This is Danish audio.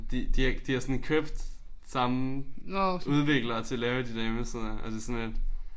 De de har de har sådan købt samme udvikler til at lave de der hjemmesider. Altså sådan lidt